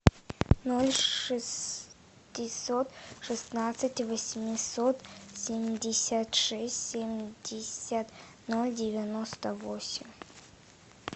ноль шестьсот шестнадцать восемьсот семьдесят шесть семьдесят ноль девяносто восемь